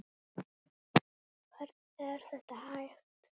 Hvernig er þetta hægt?